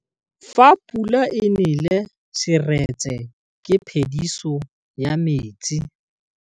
Fa pula e nelê serêtsê ke phêdisô ya metsi.